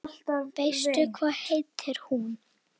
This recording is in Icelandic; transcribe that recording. Veistu hvað heitir hún?